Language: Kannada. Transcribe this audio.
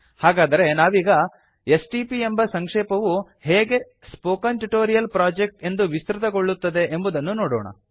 ಹಾಗಾದರೆ ನಾವೀಗ ಎಸ್ಟಿಪಿ ಎಂಬ ಸಂಕ್ಷೇಪವು ಹೇಗೆ ಸ್ಪೋಕನ್ ಟ್ಯೂಟೋರಿಯಲ್ ಪ್ರೊಜೆಕ್ಟ್ ಎಂದು ವಿಸ್ತೃತಗೊಳ್ಳುತ್ತದೆ ಎಂಬುದನ್ನು ನೋಡೋಣ